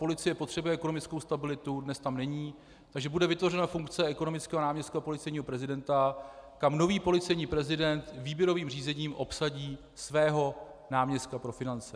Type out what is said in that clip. Policie potřebuje ekonomickou stabilitu, dnes tam není, takže bude vytvořena funkce ekonomického náměstka policejního prezidenta, kam nový policejní prezident výběrovým řízením obsadí svého náměstka pro finance.